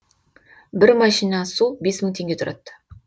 бір машина су бес мың теңге тұрад